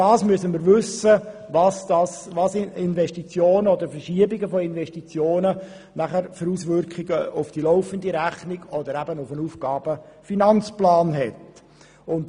Wir müssen wissen, welche Auswirkungen die Verschiebungen von Investitionen auf die laufende Rechnung oder auf den Aufgaben-/Finanzplan haben.